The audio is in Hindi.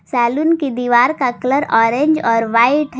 सैलून की दीवार का कलर ऑरेंज और व्हाइट है।